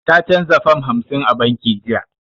Ta canza fam hamsin a banki jiya.